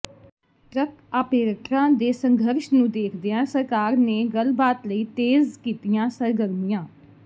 truck ਆਪੇ੍ਰਟਰਾਂ ਦੇ ਸੰਘਰਸ਼ ਨੂੰ ਦੇਖਦਿਆਂ ਸਰਕਾਰ ਨੇ ਗੱਲਬਾਤ ਲਈ ਤੇਜ਼ ਕੀਤੀਆਂ ਸਰਗਰਮੀਆਂ